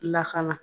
Lakana